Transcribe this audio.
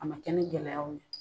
A ma kɛ ni gɛlɛyaw ye